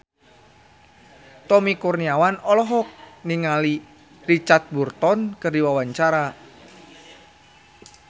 Tommy Kurniawan olohok ningali Richard Burton keur diwawancara